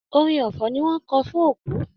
Orin ọfọ̀ ni wọn n kọ fún òkú.